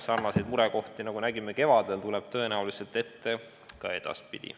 Sarnaseid murekohti, nagu nägime kevadel, tuleb tõenäoliselt ette ka edaspidi.